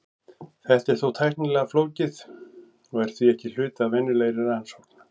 Þetta er þó tæknilega flókið og er því ekki hluti af venjulegri rannsókn.